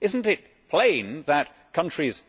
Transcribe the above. Is it not plain that countries